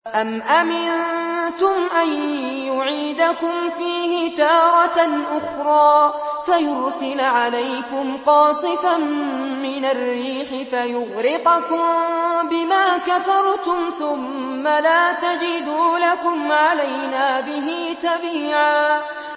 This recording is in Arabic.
أَمْ أَمِنتُمْ أَن يُعِيدَكُمْ فِيهِ تَارَةً أُخْرَىٰ فَيُرْسِلَ عَلَيْكُمْ قَاصِفًا مِّنَ الرِّيحِ فَيُغْرِقَكُم بِمَا كَفَرْتُمْ ۙ ثُمَّ لَا تَجِدُوا لَكُمْ عَلَيْنَا بِهِ تَبِيعًا